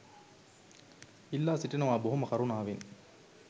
ඉල්ලා සිටිනවා බොහොම කරුණාවෙන්.